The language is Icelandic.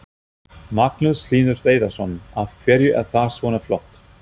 Magnús Hlynur Hreiðarsson: Af hverju er það svona flott?